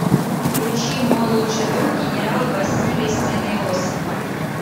включи мой лучший друг генерал василий сын иосифа